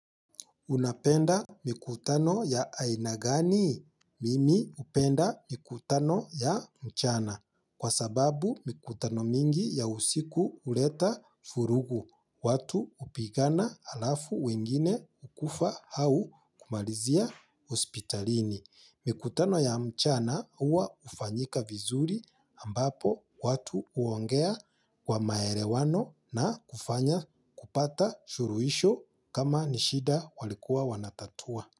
Unapenda mikutano ya aina gani? Mimi upenda mikutano ya mchana. Kwa sababu mikutano mingi ya usiku huleta vurugu. Watu hupigana alafu wengine kufa au kumalizia hospitalini. Mikutano ya mchana huwa ufanyika vizuri ambapo watu huongea wa maelewano na kufanya kupata shuluhisho kama ni shida walikuwa wanatatua.